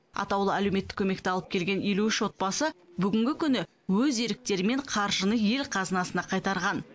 атаулы әлеуметтік көмекті алып келген елу үш отбасы бүгінгі күні өз еріктерімен қаржыны ел қазынасына қайтарған